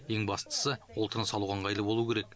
ең бастысы ол тыныс алуға ыңғайлы болу керек